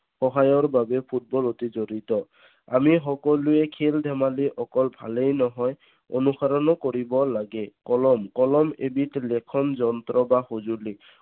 সহায়ৰ বাবে ফুটবল অতি জৰুৰীত। আমি সকলোৱে খেল ধেমালি অকল ভালেই নহয়, অনুসৰণো কৰিব লাগে। কলম, কলম এবিধ লেখন যন্ত্ৰ বা সজুলি